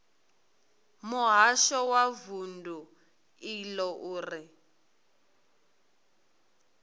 muhasho wa vundu iḽo uri